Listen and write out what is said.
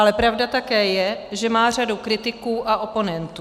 Ale pravda také je, že má řadu kritiků a oponentů.